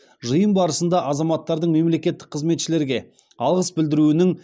жиын барысында азаматтардың мемлекеттік қызметшілерге алғыс білдіруінің